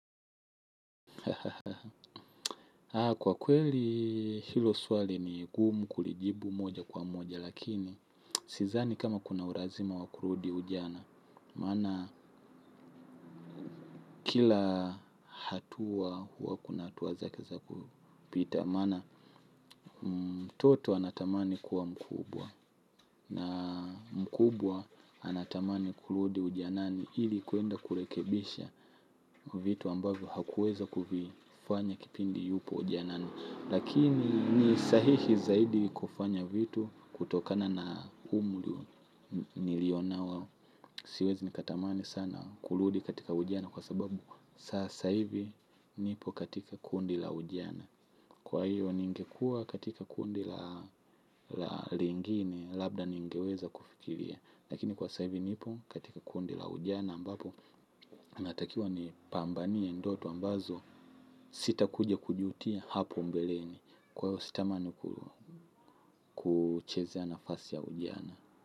Haa kwa kweli hilo swali ni gumu kulijibu moja kwa moja lakini sizani kama kuna urazima wa kurudi ujana maana kila hatua huwa kuna hatua zake za kupita maana mtoto anatamani kuwa mkubwa na mkubwa anatamani kurudi ujanani ili kuenda kurekebisha vitu ambavyo hakuweza kuvifanya kipindi yupo ujanani. Lakini ni sahihi zaidi kufanya vitu kutokana na umri nilio nao. Siwezi nikatamani sana kurudi katika ujana kwa sababu sasa hivi nipo katika kundi la ujana. Kwa hiyo ningekua katika kundi la lingine labda ningeweza kufikiria. Lakini kwa sa hivi nipo katika kundi la ujana ambapo natakiwa nipambanie ndoto ambazo sitakuja kujutia hapo mbeleni. Kwa hiyo sitamani kuchezea nafasi ya ujana.